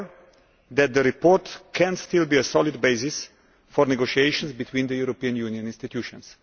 However, the report can still be a solid basis for negotiation between the European Union institutions.